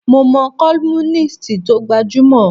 Mo mo columnist tó gbajúmọ̀.